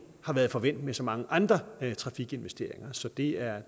har været forvænt med så mange andre trafikinvesteringer så det er